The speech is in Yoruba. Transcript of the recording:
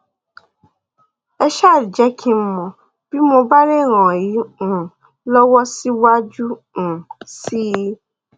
ẹ um jẹ kí n mọ bí mo bá lè ràn yín um lọwọ síwájú um sí i